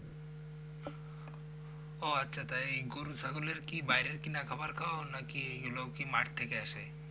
ও আচ্ছা তাই গরু ছাগলের বাইরের কিনা খাওয়ার খাওয়াও নাকি এইগুলো ও মাঠ থেকে আসে?